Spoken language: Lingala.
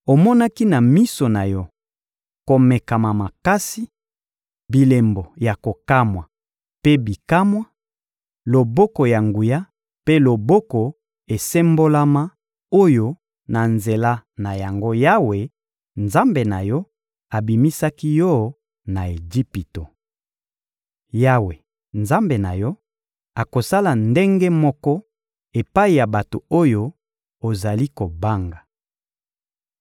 Omonaki na miso na yo komekama makasi, bilembo ya kokamwa mpe bikamwa, loboko ya nguya mpe loboko esembolama oyo na nzela na yango Yawe, Nzambe na yo, abimisaki yo na Ejipito. Yawe, Nzambe na yo, akosala ndenge moko epai ya bato oyo ozali kobanga.